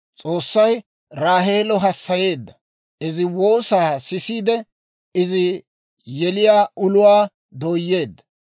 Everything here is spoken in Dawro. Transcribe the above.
S'oossay Raaheelo hassayeedda; izi woosaa sisiide izi yeliyaa uluwaa dooyeedda.